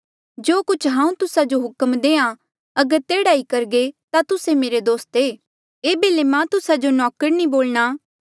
जो कुछ हांऊँ तुस्सा जो हुक्म देहां अगर तेह्ड़ा ई करघे ता तुस्से मेरे दोस्त ऐें